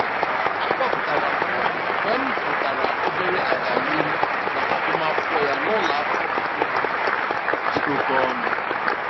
A kpọpụtara m nwa m mgbe m hụtara obere agamnihu n'agụmamwkụkwọ ya n'ụlọakwụkwọ nke onwe dị oke ọnụ.